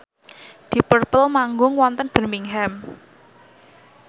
deep purple manggung wonten Birmingham